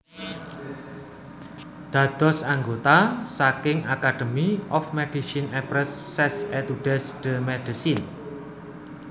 Dados anggota saking Academy of MedicineAprès ses études de médecine